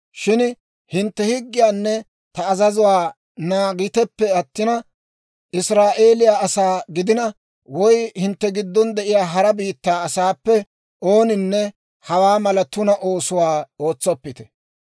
Shin hintte ta higgiyaanne ta azazuwaa naagiteppe attina, Israa'eeliyaa asaa gidina woy hintte giddon de'iyaa hara biittaa asaappe ooninne hawaa mala tuna oosuwaa ootsoppite.